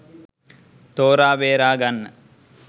තෝරාබේරා ගන්න